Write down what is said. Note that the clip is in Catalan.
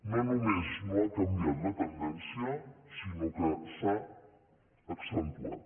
no només no ha canviat la tendència sinó que s’ha accentuat